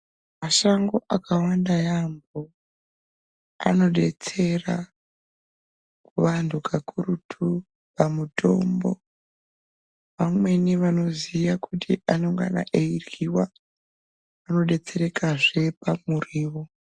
Mashango akawanda yaambo anodetsera kuvantu kakurutu pamutombo. Vamweni vanoziya kuti anongana eiryiwa vano betserekazve pakuryiwa.